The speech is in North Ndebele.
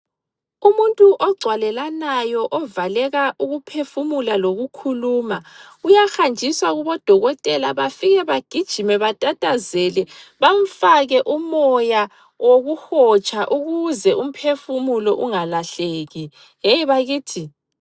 Umuntu ogcwalelanayo ovaleka ukuphefumula lokukhuluma, uyahanjiswa kubodokotela bafike bagijime batatazele bamfake umoya wokuhotsha ukuze umphefumulo ungalahleki yeyi bakithi!